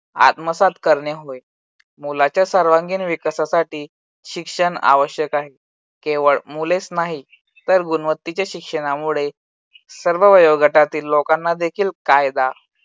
आत्मसात करणे होय. मुलाच्या सर्वांगीण विकासासाठी शिक्षण आवश्यक आहे. केवळ मुलेच नाही तर गुणवत्तेच्या शिक्षणामुळे सर्व वयोगटातील लोकांना देखील कायदा